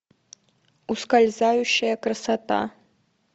ускользающая красота